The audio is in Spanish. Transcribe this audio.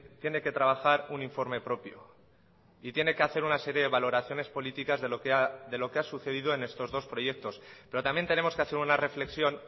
tiene que trabajar un informe propio y tiene que hacer una serie de valoraciones políticas de lo que ha sucedido en estos dos proyectos pero también tenemos que hacer una reflexión